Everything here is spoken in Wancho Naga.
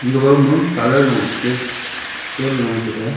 gabowma colour lung skeshpen loye taga.